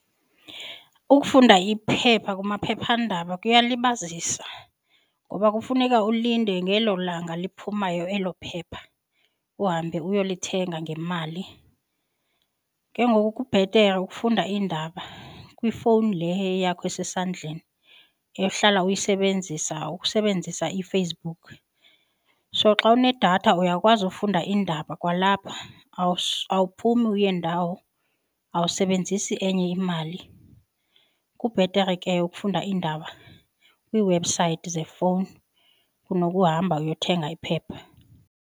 Ukufunda iphepha kumaphephandaba kuyalibazisa ngoba kufuneka ulinde ngelo langa liphumayo elo phepha uhambe uyolithenga ngemali. Ke ngoku kubhetere ukufunda iindaba kwifowuni le eyeyakho esesandleni ehlala uyisebenzisa ukusebenzisa iFacebook. So xa unedatha uyakwazi ufunda iindaba kwalapha awuphumi uye ndawo, awusebenzisi enye imali. Kubhetere ke ukufunda iindaba kwiiwebhusayithi zefowuni kunokuhamba uyothenga iphepha.